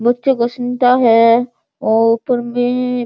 बच्चों को सुनता है अ ऊपर में --